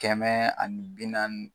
Kɛmɛ ani bi nanni